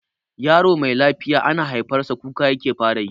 Yaro me lafiya ana haifar sa kuka yake fara yi.